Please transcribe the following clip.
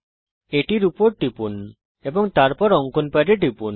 এটির উপর টিপুন এবং তারপর আঁকার প্যাডে টিপুন